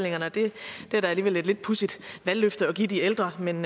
det er da alligevel et lidt pudsigt valgløfte at give de ældre men